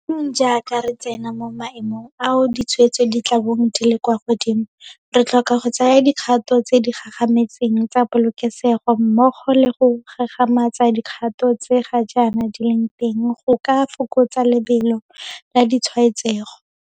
Jaanong jaaka re tsena mo maemong ao ditshwaetso di tla bong di le kwa godimo, re tlhoka go tsaya dikgato tse di gagametseng tsa polokesego mmogo le go gagamatsa dikgato tse ga jaana di leng teng go ka fokotsa lebelo la ditshwaetsego.